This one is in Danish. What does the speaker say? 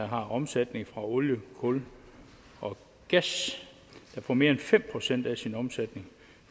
har omsætning fra olie kul og gas og der får mere end fem procent af sin omsætning